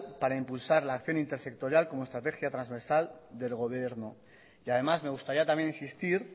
para impulsar la acción intersectorial como estrategia transversal del gobierno y además me gustaría también insistir